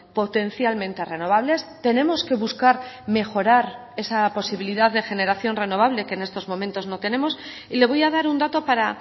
potencialmente renovables tenemos que buscar mejorar esa posibilidad de generación renovable que en estos momentos no tenemos y le voy a dar un dato para